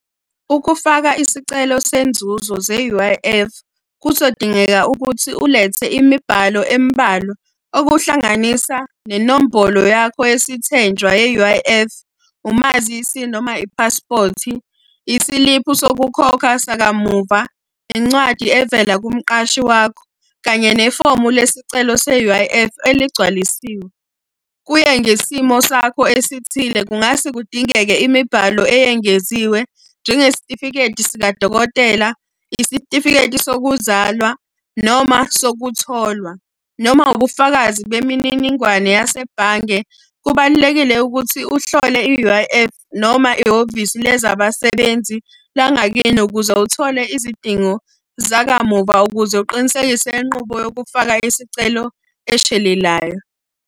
Ukufaka isicelo senzuzo ze-U_I_F, kuzodingeka ukuthi ulethe imibhalo emibalwa, okuhlanganisa nenombolo yakho yesithenjwa ye-U_I_F, umazisi noma iphaspothi, isiliphu sokukhokha sakamuva, incwadi evela kumqashi wakho, kanye nefomu lesicelo se-U_I_F eligcwalisiwe. Kuye ngesimo sakho esithile kungase kudingeke imibhalo eyengeziwe njengesitifiketi sikadokotela, isitifiketi sokuzalwa, noma sokutholwa. Noma ubufakazi bemininingwane yasebhange. Kubalulekile ukuthi uhlole i-U_I_F, noma ihhovisi lezabasebenzi langakini ukuze uthole izidingo zakamuva ukuze uqinisekise inqubo yokufaka isicelo eshelelayo.